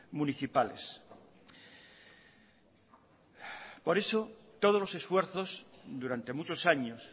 municipales por eso todos los esfuerzos durante muchos años